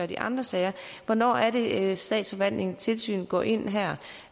de andre sager hvornår er det statsforvaltningens tilsyn går ind her